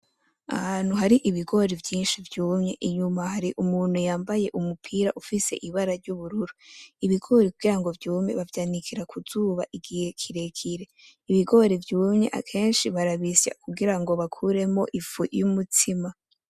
Ahantu hari Ibigori vyinshi vyumye, inyuma hari umutuku yambaye umupira ufise Ibara ry'ubururu. Ibigori kugira vyume bavyanikira kuzuba igihe kirekire, Ibigori vyumye akenshi barabisya kugira baronke ifu y'umutsima.